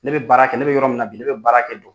Ne bɛ baara kɛ ne bɛ yɔrɔ min na bi ne bɛ baara kɛ